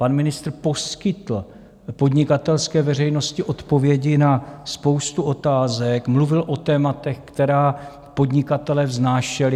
Pan ministr poskytl podnikatelské veřejnosti odpovědi na spoustu otázek, mluvil o tématech, která podnikatelé vznášeli.